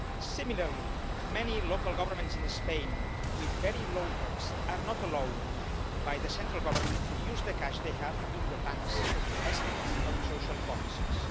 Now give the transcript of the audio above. Similarly, many local governments in Spain with very low debt are not allowed by the central government to use the cash they have in the banks for investments on social policies.